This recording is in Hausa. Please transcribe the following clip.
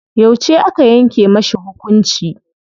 Yauce aka yanke mashi hukunci?